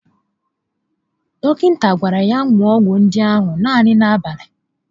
Dọkịta gwara ya ṅụọ ọgwụ ndị ahụ naanị n'abalị